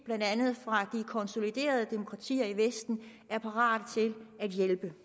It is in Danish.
blandt andet fra de konsoliderede demokratier i vesten er parate til at hjælpe